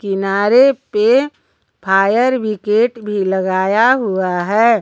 किनारे पे fire brigade भी लगाया हुआ है।